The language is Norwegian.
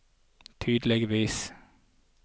tydeligvis